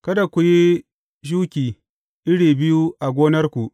Kada ku yi shuki iri biyu a gonarku.